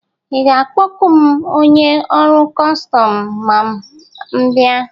Ị ga-akpọku m onye ọrụ kọstọm ma m bịa?